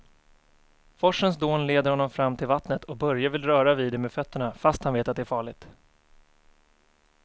Forsens dån leder honom fram till vattnet och Börje vill röra vid det med fötterna, fast han vet att det är farligt.